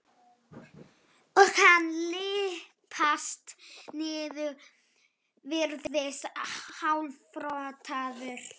og hann lyppast niður, virðist hálfrotaður.